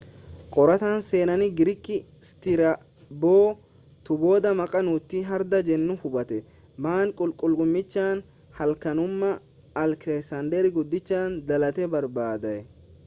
qorataa seenaa giriik stiraaboo'tu booda maqaa nuuti hardha jennu hubate manni qulqullummichaa halkanuma aleksaander guddichi dhalate barbadaa'e